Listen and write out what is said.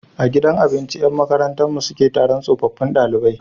A gidan abinci Yan makarantar mu sule Taron tsofaffun ɗalibai